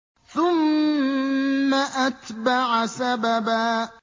ثُمَّ أَتْبَعَ سَبَبًا